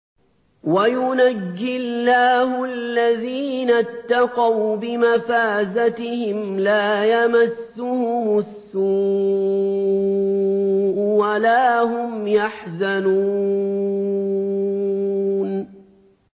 وَيُنَجِّي اللَّهُ الَّذِينَ اتَّقَوْا بِمَفَازَتِهِمْ لَا يَمَسُّهُمُ السُّوءُ وَلَا هُمْ يَحْزَنُونَ